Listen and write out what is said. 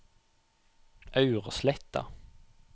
Aursletta